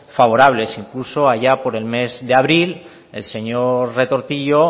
favorables incluso allá por el mes de abril el señor retortillo